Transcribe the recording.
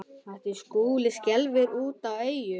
Mætti Skúla úti á Eyjum.